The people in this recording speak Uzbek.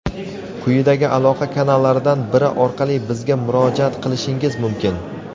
quyidagi aloqa kanallaridan biri orqali bizga murojaat qilishingiz mumkin:.